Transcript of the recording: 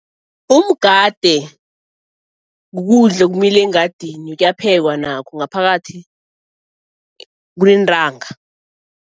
Umgade kukudla okumila engadini, kuyaphekwa nakho ngaphakathi kuneentanga.